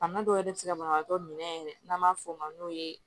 Bana dɔw yɛrɛ bɛ se ka banabaatɔ minɛ yɛrɛ n'an b'a fɔ o ma n'o ye